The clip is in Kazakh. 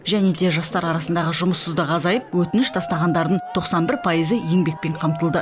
және де жастар арасындағы жұмыссыздық азайып өтініш тастағандардың тоқсан бір пайызы еңбекпен қамтылды